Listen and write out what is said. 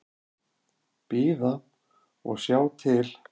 Bíða og sjá til.